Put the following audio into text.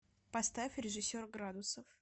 поставь режиссер градусов